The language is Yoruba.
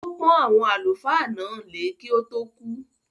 Ó pọ́n “àwọn àlùfáà ” náà lé kí ó tó kú.